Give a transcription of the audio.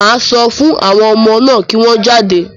Màá sọ fún àwọn ọmọ náà kí wọ́n jáde.